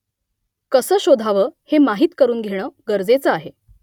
कसं शोधावं हे माहीत करून घेणं गरजेचं आहे